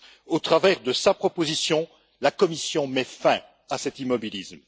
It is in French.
Au travers de sa proposition, la Commission met fin à cet immobilisme.